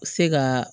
Se ka